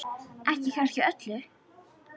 Ekki kannski öllu.